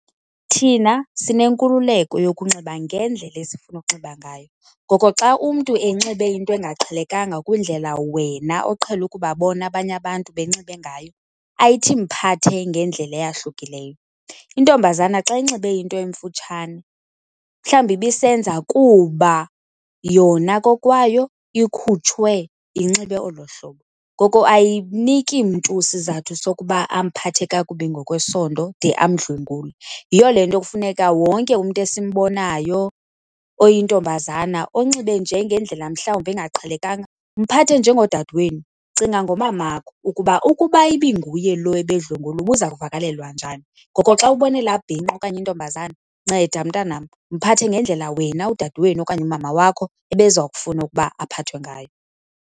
Thina sinenkululeko yokunxiba ngendlela esifuna ukunxiba ngayo, ngoko xa umntu enxibe into engaqhelekanga kwindlela wena oqhele ukubabona abanye abantu benxibe ngayo ayithi mphathe ngendlela eyahlukileyo. Intombazana xa inxibe into emfutshane mhlawumbi ibisenza kuba yona kokwayo ikhutshwe inxibe olo hlobo. Ngoko ayiniki mntu sizathu sokuba amphathe kakubi ngokwesondo de amdlwengule. Yiyo le nto kufuneka wonke umntu esimbonayo oyintombazana onxibe nje ngendlela mhlawumbi engaqhelekanga, mphathe njengodade wenu. Cinga ngomamakho ukuba ukuba ibinguye lo ebedlwengulwa ubuza kuvakalelwa njani. Ngoko xa ubona ela bhinqa okanye intombazana nceda, mntanam, mphathe ngendlela wena udade wenu okanye umama wakho ebeza kufuna ukuba aphathwe ngayo.